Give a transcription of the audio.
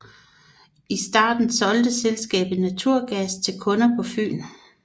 I starten solgte selskabet naturgas til kunder på Fyn